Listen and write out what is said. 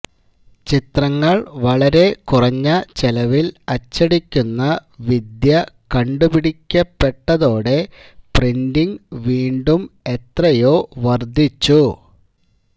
ചിത്രങ്ങൾ വളരെ കുറഞ്ഞ ചെലവിൽ അച്ചടിക്കുന്ന വിദ്യ കണ്ടുപിടിക്കപ്പെട്ടതോടെ പ്രിന്റിങ് വീണ്ടും എത്രയോ വർധിച്ചു